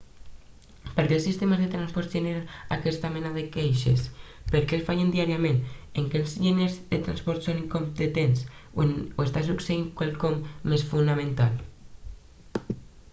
per què els sistemes de transports generen aquesta mena de queixes per què fallen diàriament és que els enginyers de transport són incompetents o està succeint quelcom més fonamental